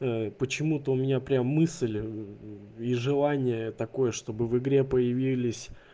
почему-то у меня прям мысль и желания такое чтобы в игре появились